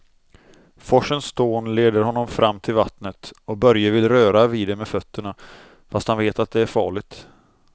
Forsens dån leder honom fram till vattnet och Börje vill röra vid det med fötterna, fast han vet att det är farligt.